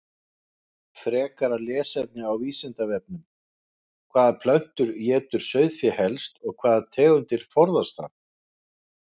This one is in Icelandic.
Frekara lesefni á Vísindavefnum: Hvaða plöntur étur sauðfé helst og hvaða tegundir forðast það?